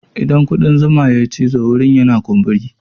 Idan kuɗan zuma sun yi cizo wurin yana kumburi.